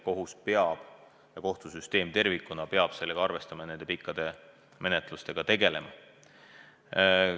Seega kohtusüsteem tervikuna peab sellega arvestama ja nende pikkade menetlustega tegelema.